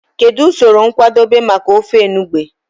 Kedu usoro nkwadebe maka ofe enugbe?